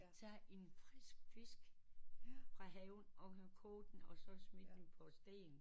Der er en frisk fisk fra havet og man kan koge den og så smide den på sten